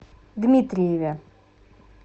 дмитриеве